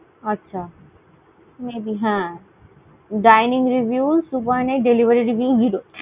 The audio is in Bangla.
আচ্ছা। may be হ্যাঁ। dining review two point eight, delivery review zero ।